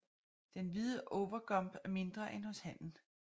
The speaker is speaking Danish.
Den hvide overgump er mindre end hos hannen